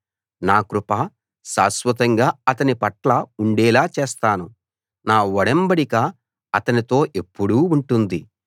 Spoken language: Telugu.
నా కృప శాశ్వతంగా అతనిపట్ల ఉండేలా చేస్తాను నా ఒడంబడిక అతనితో ఎప్పుడూ ఉంటుంది